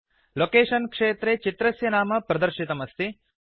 location क्षेत्रे चित्रस्य नाम प्रदर्शितमस्ति